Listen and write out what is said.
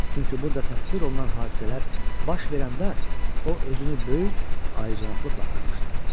Çünki burda təsvir olunan hadisələr baş verəndə o özünü böyük, ali cənablıqla aparmışdı.